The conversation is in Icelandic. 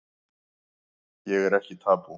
Ég er ekki tabú